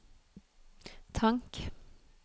tank